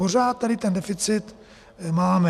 Pořád tady ten deficit máme.